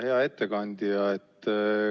Hea ettekandja!